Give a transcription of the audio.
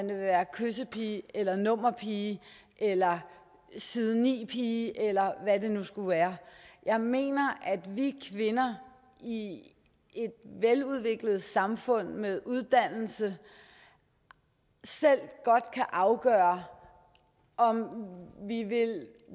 vil være kyssepiger eller nummerpiger eller side ni piger eller hvad det nu skulle være jeg mener at vi kvinder i et veludviklet samfund med uddannelse selv godt kan afgøre om vi vil